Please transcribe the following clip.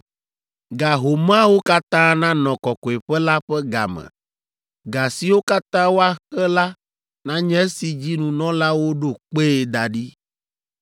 Ga homeawo katã nanɔ Kɔkɔeƒe la ƒe ga me: ga siwo katã woaxe la nanye esi dzi nunɔlawo ɖo kpee da ɖi.